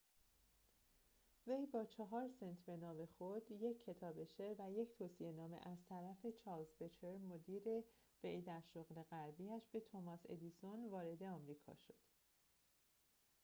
وی با 4 سنت به نام خود، یک کتاب شعر و یک توصیه نامه از طرف چارلز بچلر مدیر وی در شغل قبلی‌اش به توماس ادیسون، وارد آمریکا شد